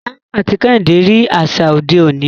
Taiwo àti Kehinde rí àṣà òde òní.